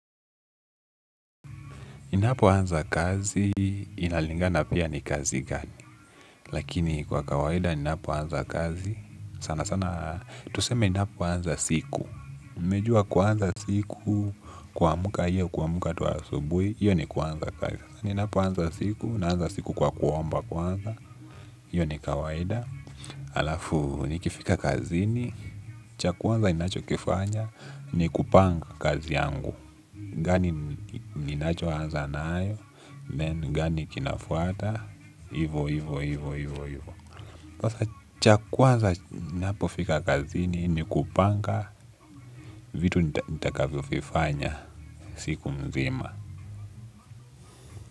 Ninapoanza kazi, inalingana pia ni kazi gani, lakini kwa kawaida ninapoanza kazi, sanasana, tuseme ninapoanza siku, umejua kuanza siku, kumka hiyo, kuamka tu asubuhi, hiyo ni kuanza kazi, ninapoanza siku, naanza siku kwa kuomba kwanza, iyo ni kawaida, alafu, nikifika kazini, cha kwa anza ninachokifanya, ni kupanga kazi yangu, gani ninachoanza nayo then gani kinafuata hivo hivo. Pasa cha kwanza napofika kazini ni kupanga vitu nitakavyo fifanya siku mzima.